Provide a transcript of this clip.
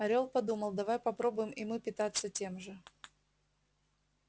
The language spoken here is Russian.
орёл подумал давай попробуем и мы питаться тем же